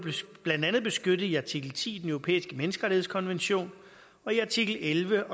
blandt andet beskyttet i artikel ti i den europæiske menneskerettighedskonvention og i artikel elleve